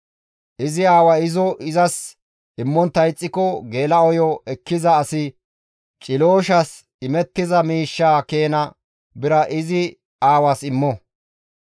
Izi aaway izo izas immontta ixxiko, geela7oyo ekkiza asi cilooshas imettiza miishshaa keena bira izi aawaas immo.